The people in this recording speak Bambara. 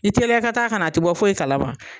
I teliya i ka taa kana a ti bɔ foyi kalama.